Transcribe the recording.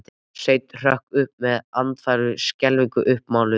Sveinn hrökk upp með andfælum, skelfingin uppmáluð.